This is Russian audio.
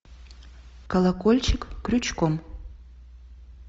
колокольчик крючком